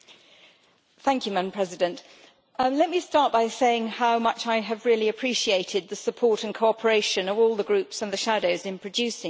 Madam President, let me start by saying how much I have really appreciated the support and cooperation of all the Groups and the shadows in producing this report.